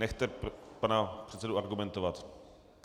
Nechte pana předsedu argumentovat.